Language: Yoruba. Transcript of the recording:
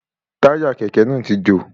Táyà Kẹ̀kẹ́ náà ti jò.